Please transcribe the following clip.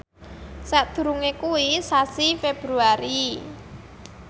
sakdurunge kuwi sasi Februari